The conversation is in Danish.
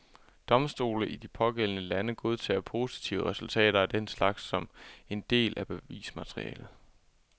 Domstole i de pågældende lande godtager positive resultater af den slags som en del af bevismaterialet.